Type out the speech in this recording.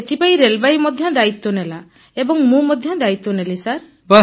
ଏଥିପାଇଁ ରେଳବାଇ ମଧ୍ୟ ଦାୟିତ୍ୱ ନେଲା ଏବଂ ମୁଁ ମଧ୍ୟ ଦାୟିତ୍ୱ ନେଲି ସାର୍